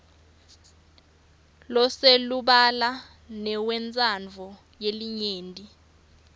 loselubala newentsandvo yelinyenti